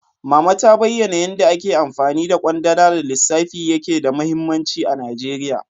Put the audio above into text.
Mama ta bayana yanda ake amfani da kwandala da lissafi yake da mahimmanci a Najeriya.